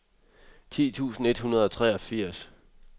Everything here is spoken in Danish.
ti tusind et hundrede og treogfirs